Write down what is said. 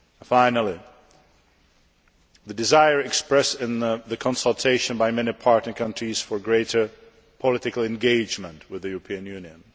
Finally, the desire expressed in the consultation by many partner countries for greater political engagement with the European Union.